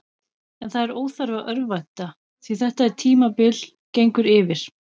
En það er óþarfi að örvænta, því þetta er tímabil gengur yfir.